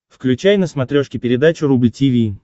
включай на смотрешке передачу рубль ти ви